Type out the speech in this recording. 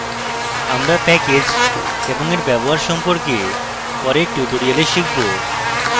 আমরা package এবং we ব্যবহার সম্পর্কে পরের tutorial শিখব